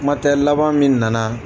Kuma tɛ laban min nana